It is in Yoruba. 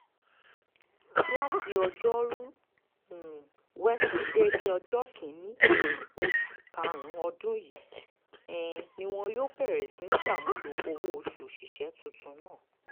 láti ọjọ́rùú um wẹsídẹ̀ẹ́ ọjọ́ kìn-ín-ní oṣù karùn-ún ọdún yìí um ni wọn yóò bẹ̀rẹ̀ sí í ṣàmúlò owó-oṣù òṣìṣẹ́ tuntun náà